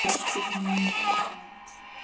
Systur mömmu og hans.